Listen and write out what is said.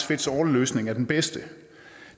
fits all løsning er den bedste